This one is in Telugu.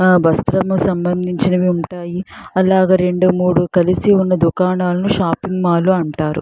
ఆ వస్త్రము సంబందించినవి ఉంటాయి అలాగా రెండు మూడు కలిసి వున్నా దుకాణాలను షాప్పింగ్మల్లు అంటారు.